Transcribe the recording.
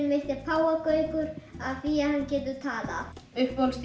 mitt er páfagaukur af því að hann getur talað